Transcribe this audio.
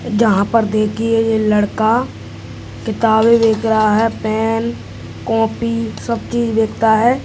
यहाँ पर देखिये ये लड़का किताबें बेच रहा है पेन कॉपी सब चीज बेचता है।